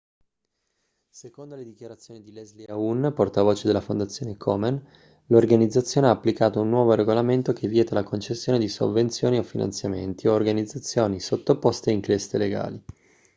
secondo le dichiarazioni di leslie aun portavoce della fondazione komen l'organizzazione ha applicato un nuovo regolamento che vieta la concessione di sovvenzioni o finanziamenti a organizzazioni sottoposte a inchieste legali